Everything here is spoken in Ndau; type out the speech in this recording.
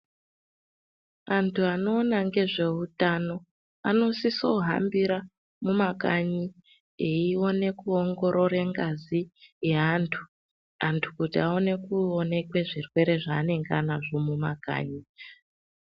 Anthu anoona ngezveutano anosiso kuhambira mumakanyi eione kuongorore ngazi yeanthu anthu kuti aone kuonekwe zvirwere zvaanenge anazvo mumakanyi.